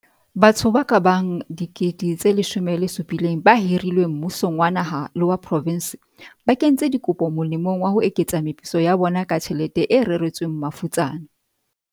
Batho ba kabang 17 000 ba hirilweng mmusong wa naha le wa profense ba kentse dikopo molemong wa ho eketsa meputso ya bona ka tjhelete e reretsweng mafutsana.